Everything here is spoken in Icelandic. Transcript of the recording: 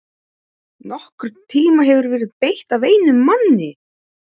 NOKKURN TÍMA HEFUR VERIÐ BEYGT AF EINUM MANNI!